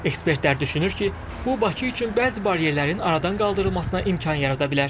Ekspertlər düşünür ki, bu Bakı üçün bəzi baryerlərin aradan qaldırılmasına imkan yarada bilər.